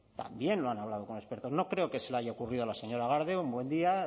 también lo han hablado con expertos no creo que se le haya ocurrido a la señora garde un buen día